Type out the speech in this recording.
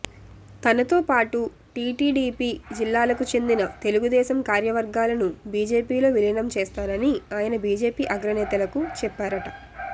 తనతో పాటు టీటీడీపీ జిల్లాలకు చెందిన తెలుగుదేశం కార్యవర్గాలను బీజేపీలో విలీనం చేస్తానని ఆయన బీజేపీ అగ్రనేతలకు చెప్పారట